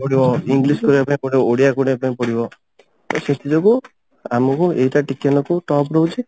ପଡିବ english କରିବା ପାଇଁ ପଡିବ ଓଡିଆ କରିବା ପାଇଁ ପଡିବ ତ ସେଥିଯୋଗୁ ଆମକୁ ଏଇଟା ଟିକେ ନାକୁ top ରହୁଛି